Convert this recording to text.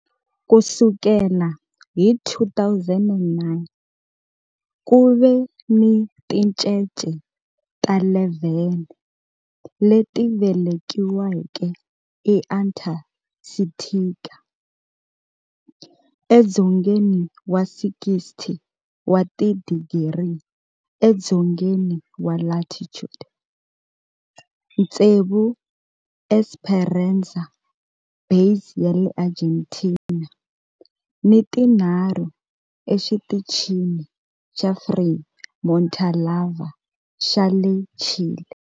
Ku sukela hi 2009, ku ve ni tincece ta 11 leti velekiweke eAntarctica, edzongeni wa 60 wa tidigri edzongeni wa latitude, tsevu eEsperanza Base ya le Argentina ni tinharhu eXitichini xa Frei Montalva xa le Chile.